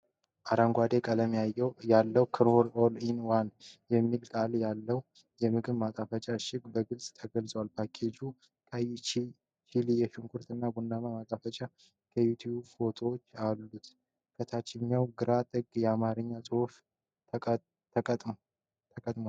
አረንጓዴ ቀለም ያለው "Knorr ALL-IN-ONE" የሚል ቃል ያለው የምግብ ማጣፈጫ እሽግ በግልጽ ተጽፏል። ፓኬጁ ቀይ ቺሊ፣ ሽንኩርት እና ቡናማ ማጣፈጫ ኪዩብ ፎቶዎች አሉት። በታችኛው ግራ ጥግ የአማርኛ ጽሑፍ ተቀምጧል።